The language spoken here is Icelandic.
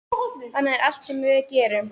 Þannig er allt sem við gerum.